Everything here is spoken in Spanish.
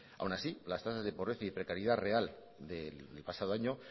aún así las tasas de pobreza y precariedad real del pasado año